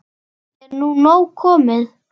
Er nú nóg komið?